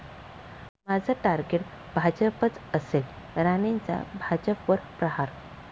माझं टार्गेट भाजपच असेल, राणेंचा भाजपवर प्रहार